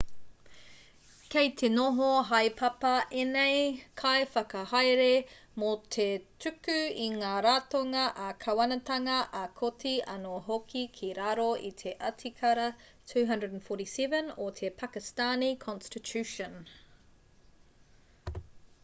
kei te noho haepapa ēnei kaiwhakahaere mō te tuku i ngā ratonga ā-kāwanatanga ā-kōti anō hoki ki raro i te atikara 247 o te pakistani constitution